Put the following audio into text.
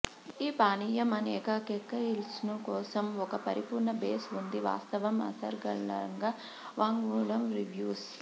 ఈ పానీయం అనేక కాక్టెయిల్స్ను కోసం ఒక పరిపూర్ణ బేస్ ఉంది వాస్తవం అనర్గళంగా వాంగ్మూలం రివ్యూస్